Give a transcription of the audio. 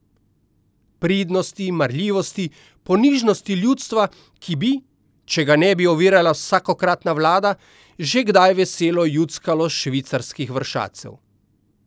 Pridnosti, marljivosti, ponižnosti ljudstva, ki bi, če ga ne bi ovirala vsakokratna vlada, že kdaj veselo juckalo s švicarskih vršacev!